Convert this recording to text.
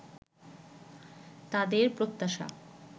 তাদের প্রত্যাশা